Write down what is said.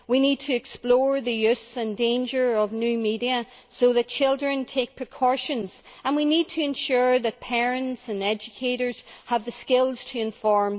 We need to explore the use and danger of new media so that children take precautions, and we need to ensure that parents and educators have the skills to inform.